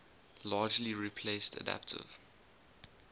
largely replaced adaptive